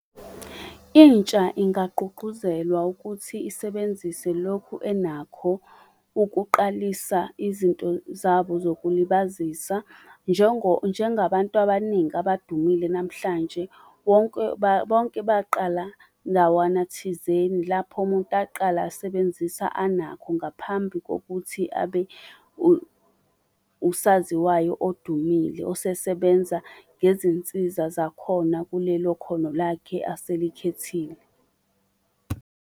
Intsha ingagqugquzelwa ukuthi isebenzise lokhu enakho ukuqalisa izinto zabo zokulibazisa. Njengabantu abaningi abadumile namhlanje, wonke, bonke baqala ndawana thizeni lapho umuntu aqala asebenzisa anakho ngaphambi kokuthi abe usaziwayo odumile osesebenza ngezinsiza zakhona kulelo khono lakhe aselikhethile.